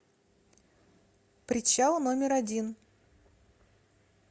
причал номер один